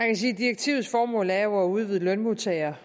kan sige at direktivets formål jo er at udvide lønmodtageres